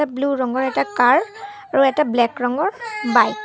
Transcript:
Blue ৰঙৰ এটা car আৰু এটা ব্লেক ৰঙৰ বাইক ।